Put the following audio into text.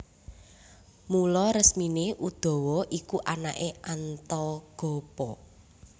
Mula resmine Udawa iku anake Antagopa